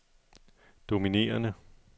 dominerende